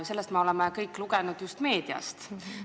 Sellest me oleme kõik meediast lugenud.